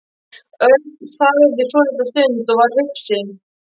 Örn þagði svolitla stund og var hugsi.